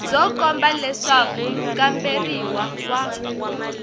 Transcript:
byo komba leswaku mukamberiwa wa